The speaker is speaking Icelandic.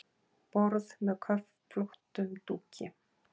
Borð með köflóttum dúki.